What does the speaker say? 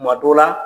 Tuma dɔ la